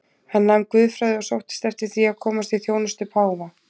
Hann nam guðfræði og sóttist eftir því að komast í þjónustu páfa.